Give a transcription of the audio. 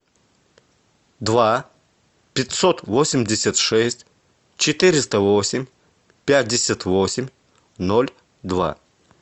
два пятьсот восемьдесят шесть четыреста восемь пятьдесят восемь ноль два